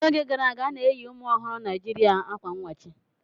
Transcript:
N'oge gara aga, a na-eyi ụmụ ọhụrụ Naijiria akwa n wachi.